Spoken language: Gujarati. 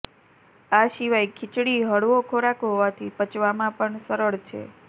આ સિવાય ખીચડી હળવો ખોરાક હોવાથી પચવામાં પણ સરળ છે